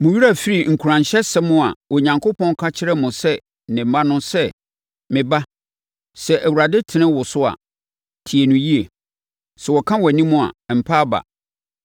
Mo werɛ afiri nkuranhyɛsɛm a Onyankopɔn ka kyerɛɛ mo sɛ ne mma no sɛ, “Me ba, sɛ Awurade tene wo so a, tie no yie, na sɛ ɔka wʼanim a, mpa aba.